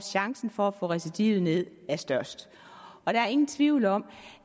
chancen for at få recidivet ned er størst og der er ingen tvivl om